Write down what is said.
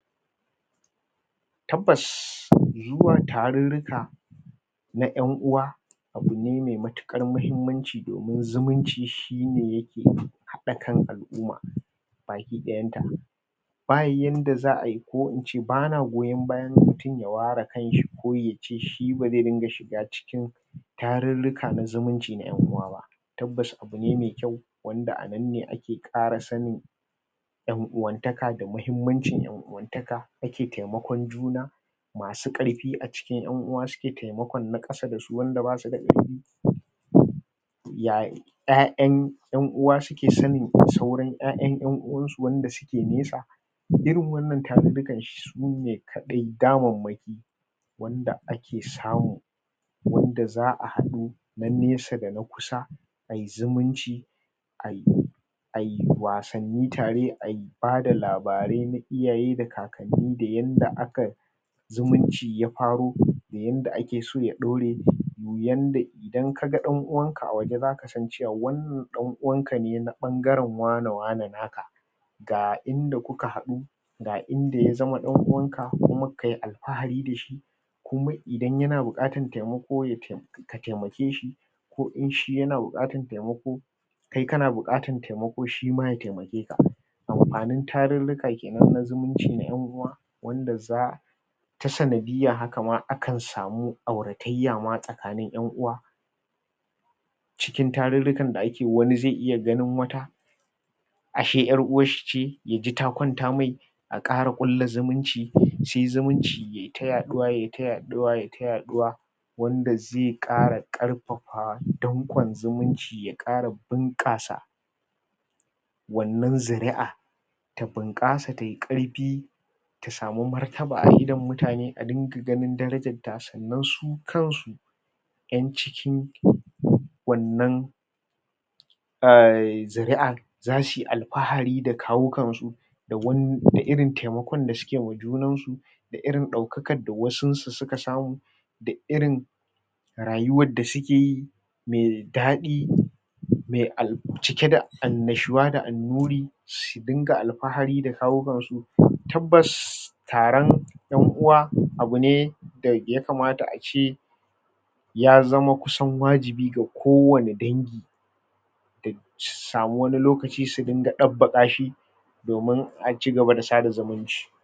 Tabbas, zuwa tarurruka na ƴanuwa abu ne mai matuƙar muhimmanci domin zumunci shi ne yake haɗa kan al'uma baki ɗaayanta. Ba yanda za a yi ko in ce ba na goyon bayan mutum ya ware kan shi ko ya ce ba zai dinga shiga cikin tarurruka na zumunci na ƴan'uwa ba abu ne mai kyau wanda a nan ne ake ƙara sanin ƴan'uwantaka da muhimmancin ƴan'uwantaka, ake taimakon juna masu ƙarfi a cikin ƴan'uwa suke taimakon na ƙara da su wanda ba su da ƙarfi ƴaƴan ƴan'uwa suke sanin sauran ƴaƴan ƴan'uwansu wanda suke nesa. Irin wannan tarurrukan sune kaɗai damammaki wanda ake samu, wanda za a haɗu na nesa da na kusa a yi zumunci, a yi wasanni tare, a yi ba da labarai na iyaye da kakanni da yadda aka zumunci ya faro da yanda ake so ya ɗaure da yanda idan ka ga ɗan'uwanka a waje za ka san cewa wannan ɗan'uwanka ne na ɓangaren wane-wane naka ga inda kuka haɗu, ga inda ya zama ɗan'uwanka kuma ka yi alfahari da shi kuma idan yana buƙatar taimako, ka taimake shi ko in shi yana buƙatar taimako, kai kana buƙatar taimako ko shi ma ya taimake ka. Amfanin tarurruka ke nan na zumunci na ƴan'uwa wanda za ta sanadiyyan haka ma akan samu auratayya ma tsakanin ƴan'uwa. A cikin tarurrukan da ake yi, wani zai iya ganin wata ashe ƴar'uwar shi ce, ya ji ta kwanta mai a ƙara ƙulla zumunci, su yi zumunci, yai ta yaɗuwa, yai ta yaɗuwa, yai ta yaɗuwa wanda zai ƙara ƙarfafa danƙon zumunci, ya ƙara bunƙasa wannan zuri'a ta bunƙasa tai ƙarfi ta samu martaba a idon mutane, a dinga ganin darajarta sannan su kansu ƴan cikin wannan um zuri'ar za su yi alfahari da kawukansu da irin taimakon da suke yi wa junansu da irin ɗaukakar da wasunsu suka samu da irin rayuwar da suke yi mai daɗi, mai al cike da annashuwa da annnuri su dinga alafahari da kawukansu. Tabbas taron ƴan'uwa abu ne a ya kamata a ce ya zama kusan wajibi ga kowane dangi; su samu wani lokaci su dinga ɗabbaka shi domin a ci gaba da sada zumunci.